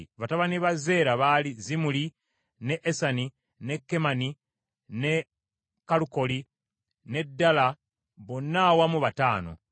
Batabani ba Zeera baali Zimuli, ne Esani, ne Kemani, ne Kalukoli, ne Dala, bonna awamu bataano.